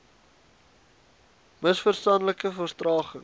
ms verstandelike vertraging